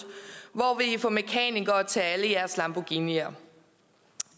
hvor vil i få mekanikere til alle jeres lamborghinier